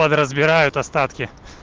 подразбирают остатки